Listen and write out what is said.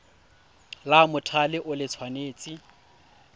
la mothale o le tshwanetse